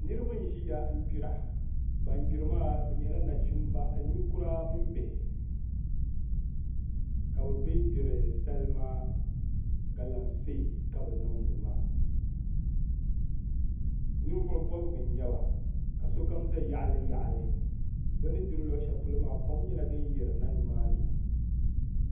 Niraba n ʒiya dira ban diri maa bi nyɛla nachimba ninkura mini bihi ka bi bɛn gbiri salima galamsee ka bi niŋdi maa ninvuɣu bobgu n nyɛba ka sokam ʒɛ yaɣali yaɣali bi ni gbiri luɣu shɛli polo maa kom nyɛla din yirina nimaani